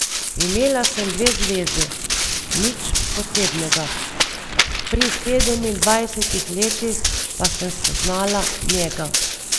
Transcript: Imela sem dve zvezi, nič posebnega, pri sedemindvajsetih letih pa sem spoznala njega.